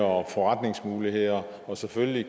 og forretningsmuligheder og selvfølgelig